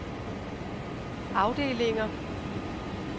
afdelinger